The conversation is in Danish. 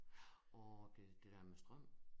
Åh det det dér med strøm?